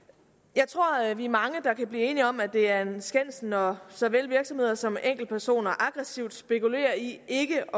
jeg tror at vi er mange der kan blive enige om at det er en skændsel når såvel virksomheder som enkeltpersoner aggressivt spekulerer i ikke